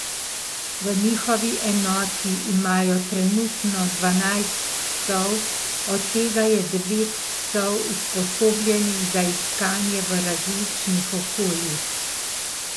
V njihovi enoti imajo trenutno dvanajst psov, od tega je devet psov usposobljenih za iskanje v različnih okoljih.